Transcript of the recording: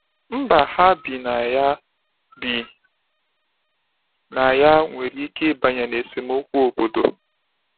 Mba ha bi na ya bi na ya nwere ike ịbanye n’esemokwu obodo.